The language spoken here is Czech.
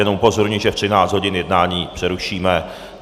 Jenom upozorňuji, že ve 13 hodin jednání přerušíme.